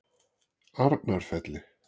Arnarfelli